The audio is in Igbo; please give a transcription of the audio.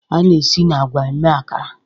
A na-esi na agwa mee Akara